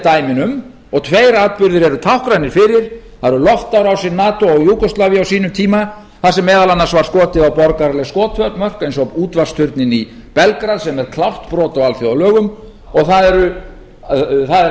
dæmi um og tveir atburðir eru táknrænir fyrir það er loftárásir nato á júgóslavíu á sínum tíma þar sem meðal annars var skotið á borgaraleg skotmörk eins og útvarpsturninn í belgrad sem er klárt brot á alþjóðalögum og það er